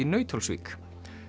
Nauthólsvík